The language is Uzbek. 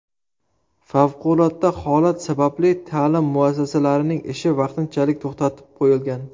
Favqulodda holat sababli ta’lim muassasalarining ishi vaqtinchalik to‘xtatib qo‘yilgan.